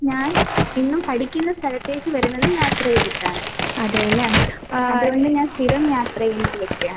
ഞാനെന്നും പഠിക്കുന്ന സ്ഥലത്തേക്ക് വരുന്നത് യാത്ര ചെയ്തിട്ടാണ്. അതുകൊണ്ട് ഞാൻ സ്ഥിരം യാത്ര ചെയ്യുന്നൊരു വ്യക്തിയാണ്.